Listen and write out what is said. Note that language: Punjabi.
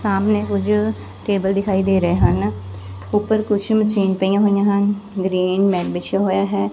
ਸਾਹਮਣੇ ਕੁਝ ਕੇਬਲ ਦਿਖਾਈ ਦੇ ਰਹੇ ਹਨ ਉੱਪਰ ਕੁਛ ਮਸ਼ੀਨ ਪਈਆਂ ਹੋਈਆਂ ਹਨ ਗਰੀਨ ਮੈਟ ਵਿਸ਼ਆ ਹੋਇਆ ਹੈ।